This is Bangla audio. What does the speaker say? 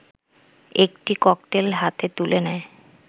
একটি ককটেল হাতে তুলে নেয়